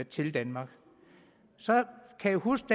til danmark så kan jeg huske